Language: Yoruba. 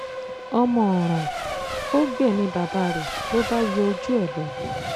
ọmọ ọ̀ràn ó gbẹ̀mí bàbá rẹ̀ ló bá yọ ojú ẹ̀ lọ